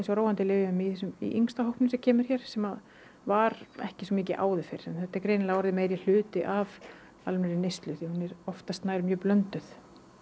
á róandi lyfjum í í yngsta hópnum sem kemur hér sem var ekki svo mikil áður fyrr þetta er greinilega orðinn meiri hluti af almennri neyslu en hún er oftast nær mjög blönduð